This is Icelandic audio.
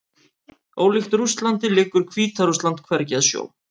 Ólíkt Rússlandi liggur Hvíta-Rússland hvergi að sjó.